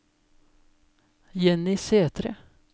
Jenny Sæthre